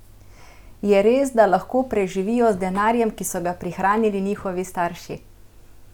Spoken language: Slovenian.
Je res, da lahko preživijo z denarjem, ki so ga prihranili njihovi starši?